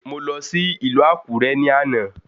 Mò lọ sí ìlú Àkúré ní àná